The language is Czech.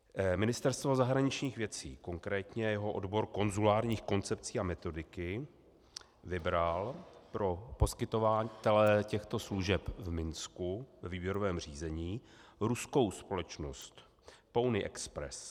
Ministerstvo zahraničních věcí, konkrétně jeho odbor konzulárních koncepcí a metodiky, vybralo pro poskytovatele těchto služeb v Minsku ve výběrovém řízení ruskou společnost Pony Express.